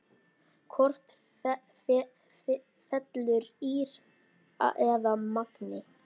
Hvort fellur ÍR eða Magni?